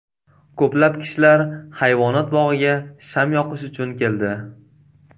Ko‘plab kishilar hayvonot bog‘iga sham yoqish uchun keldi.